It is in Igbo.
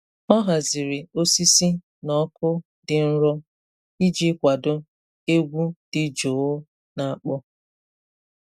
Ọ haziri osisi na ọkụ dị nro iji kwado egwu dị jụụ na-akpọ.